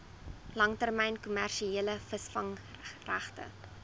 langtermyn kommersiële visvangregte